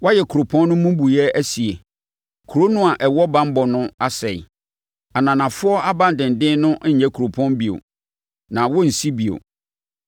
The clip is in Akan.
Woayɛ kuropɔn no mmubuiɛ sie, kuro no a ɛwɔ banbɔ no asɛe; ananafoɔ abandenden no nyɛ kuropɔn bio; na wɔrensi bio.